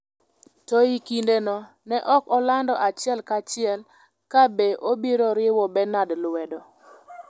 to e kindeno ne ok olando achiel kachiel ka be obiro riwo Benard lwedo.